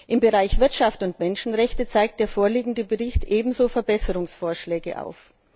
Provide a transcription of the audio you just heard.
Im Bereich Wirtschaft und Menschenrechte zeigt der vorliegende Bericht ebenso Verbesserungsvorschläge auf.